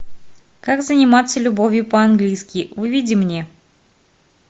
как заниматься любовью по английски выведи мне